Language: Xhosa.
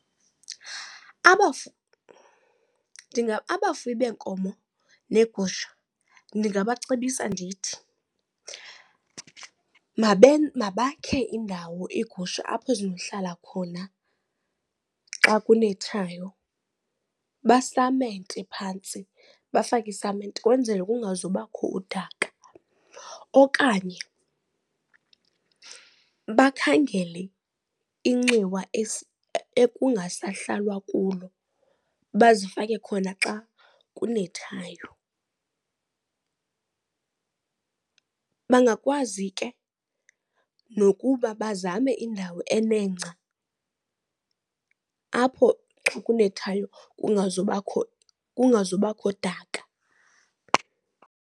Abafuyi beenkomo neegusha ndingabacebisa ndithi mabakhe indawo iigusha apho zinohlala khona xa kunethayo. Basamente phantsi, bafake isamente kwenzele kungazubakho udaka. Okanye bakhangele inxiwa ekungasahlalwa kulo bazifake khona xa kunethayo. Bangakwazi ke nokuba bazame indawo enengca apho xa kunethayo kungazubakho kungazubakho daka.